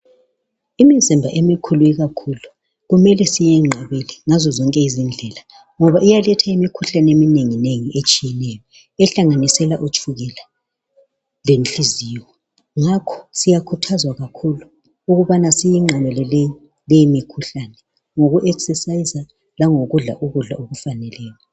Imizimba emikhulu kakhulu kumele siyenqabele ngazo zonke indlela ngoba iyaletha imikhuhlane eminengi nengi etshiyeneyo ehlanganisela utshukela lenhliziyo ngakho , siyakhuthazwa kakhulu ukubana siyenqabele leyi mikhuhlane ngoku exerciser langokudla ukudla okufaneleyo.